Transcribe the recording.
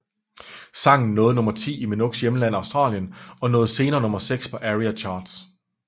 Sangen nåede nummer ti i Minogues hjemland Australien og nåede senere nummer seks på ARIA Charts